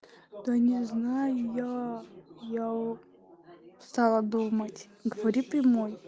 да не знаю я я стала думать говори прямой